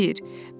Düz deyir.